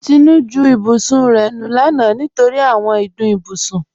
Tinú ju ìbùsùn rẹ̀ lọ lána nítorí àwọn ìdùn ìbùsùn.